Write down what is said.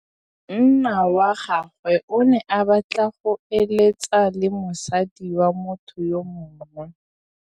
Monna wa gagwe o ne a batla go êlêtsa le mosadi wa motho yo mongwe.